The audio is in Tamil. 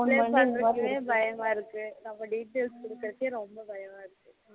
பயமா இருக்கு பயமா இருக்கு நம்ம details குடுக்குறதுக்கே ரொம்ப பயமா இருக்கு